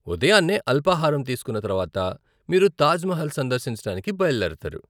ఉదయాన్నే అల్పాహారం తీసుకున్న తరువాత మీరు తాజ్ మహల్ సందర్శించడానికి బయలుదేరుతారు.